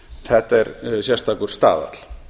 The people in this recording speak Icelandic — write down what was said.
þetta er sérstakur staðall